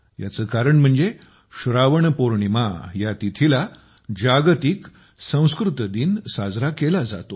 याचे कारण म्हणजे श्रावण पौर्णिमा या तिथीला जागतिक संस्कृत दिन साजरा केला जातो